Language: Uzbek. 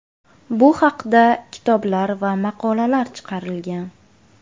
Bu haqda kitoblar va maqolalar chiqarilgan.